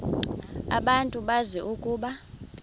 abantu bazi ukuba